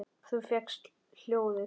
Þú fékkst hjólið!